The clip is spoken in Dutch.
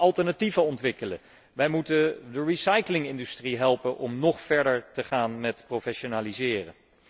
Wij moeten alternatieven ontwikkelen, we moeten de recyclingindustrie helpen om nog verder te gaan met professionaliseren.